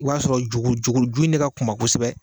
O b'a sɔrɔ juru juru ju in ne ka kunba kosɛbɛ